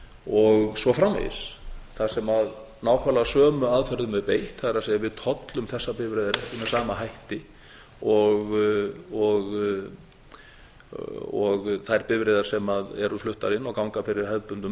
og svo framvegis þar sem nákvæmlega sömu aðferðum er beitt það er við tollum þessar bifreiðar ekki með sama hætti og þær bifreiðar sem eru fluttar inn og ganga fyrir hefðbundnum